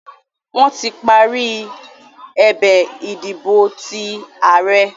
Wọ́n tí parí ẹ̀bẹ̀ ìdìbò ti ààrẹ́